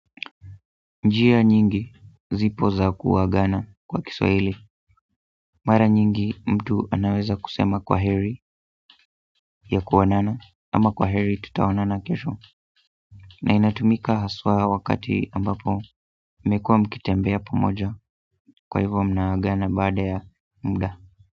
Njia nyingi zipo za kuagana kwa Kiswahili mara nyingi mtu anaweza kusema kwaheri ya kuonana ama kwa heri tutaona na kesho na inatumika haswa wakati ambapo mmekua mkitembea pamoja kwa hivyo mnaagana baada ya muda.